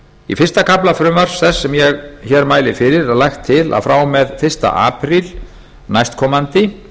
í fyrsta kafla frumvarps þess sem ég mæli hér fyrir er lagt til að frá og með fyrsta apríl næstkomandi